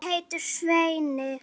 Ég heiti Svenni.